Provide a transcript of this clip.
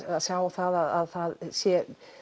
sjá það að það sé